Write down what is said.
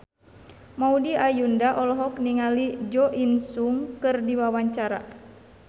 Maudy Ayunda olohok ningali Jo In Sung keur diwawancara